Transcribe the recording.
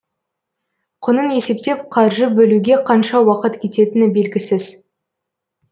құнын есептеп қаржы бөлуге қанша уақыт кететіні белгісіз